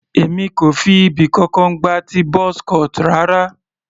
Èmi kò fi ibì kankan gba ti buzz cut rara.